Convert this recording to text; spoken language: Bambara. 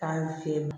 Taa ni fen ye ma